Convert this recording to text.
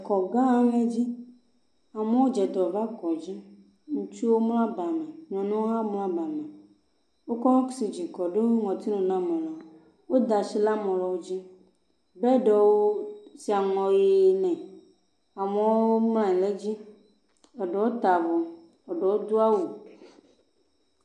Kɔgã aɖe dzi. Amewo dze dɔ va kɔdzi. Ŋutsuwo mlɔ abame, nyɔnuwo hã mlɔ abame. Wokɔ ɔksidzini kɔ ɖo ŋɔtinu na ame ɖe, woda shi ɖe ame ɖewo dzi, bɛɖiwo wosi aŋɔ ʋee nɛ, amewo mlɔ anyi le edzi, eɖewo ta avɔ, ɖewo do awu.